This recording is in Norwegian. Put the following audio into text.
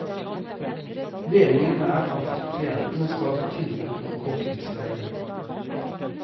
Meningen er at klientene skal få tilbud om korttidsleie.